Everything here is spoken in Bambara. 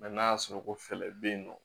n'a y'a sɔrɔ ko fɛɛrɛ bɛ yen nɔ